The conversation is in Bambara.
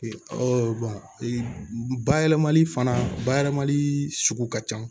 bayɛlɛmali fana bayɛlɛmali sugu ka can